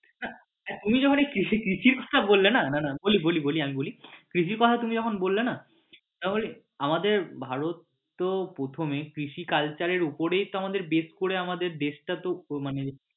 হ্যাঁ তুমি যখন এই কৃষিকাজ টা বললে না না না বলি বলি আমি বলি কৃষির কথা তুমি যখন বললে না তখন ওই আমাদের ভারত তো প্রথমে কৃষি culture এর উপরেই তো আমাদের base করে আমাদের base টা তো ও মানে